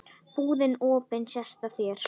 Búðin opin sést á þér.